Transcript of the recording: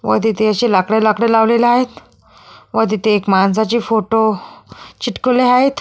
व तिथे अशी लाकड लाकड लावलेली आहेत व तिथे एक माणसाची फोटो चिटकवले आहेत.